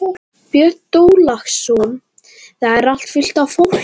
Björn Þorláksson: Það er allt fullt af fólki?